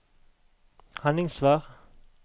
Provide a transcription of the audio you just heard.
Henningsvær